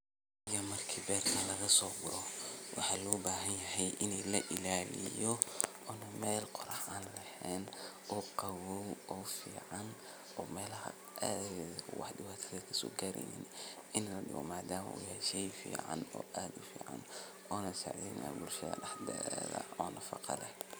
Marki berka lagasoguro waxa lobahanyahay ini lailaliyo oo meel an qorax an eheen oo qawoow oo waxbo kasogareynin madama uu yahay shey uficsn bulshda ona sacideynayo oo nafaqo leeh.